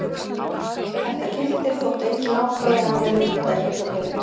Þetta gildir þótt engin ákvæði hafi verið um þetta í hlutabréfinu.